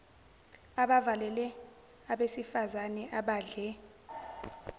abavelele abasifazane abadle